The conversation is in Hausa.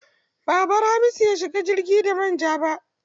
Ba a bar Hamisu ya shiga jirgi da man ja ba.